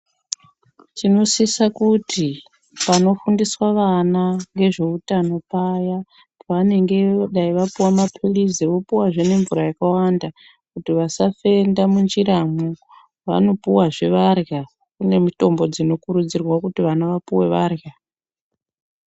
Tinosisa kuti panofundiswa vana ngezveutano paya pavanenge dai vapuwa maphilizi opuwazve nemvura yakawanda kuti vasafenda munjiramwo, vanopuwazve varya. Kune mitombo dzinokurudzirwa kuti vana vapuwe varya.